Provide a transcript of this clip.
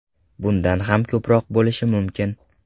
Bundan ham ko‘proq bo‘lishi mumkin.